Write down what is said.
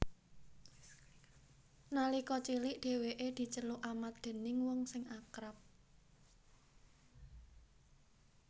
Nalika cilik dhèwèké diceluk Amat déning wong sing akrab